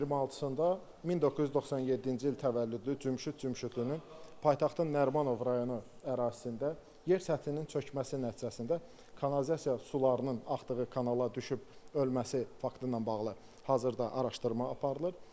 İyunun 26-sında 1997-ci il təvəllüdlü Cümşüd Cümşüdün paytaxtın Nərimanov rayonu ərazisində yer səthinin çökməsi nəticəsində kanalizasiya sularının axdığı kanala düşüb ölməsi faktı ilə bağlı hazırda araşdırma aparılır.